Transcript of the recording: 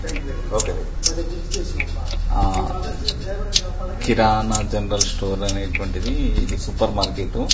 కిరాణా general స్టోరే అనెటు వంటిది ఇది సూపర్ మార్కెట్